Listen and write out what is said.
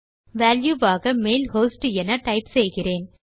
value ஆக mail host என type செய்கிறேன்